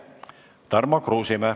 Tarmo Kruusimäe.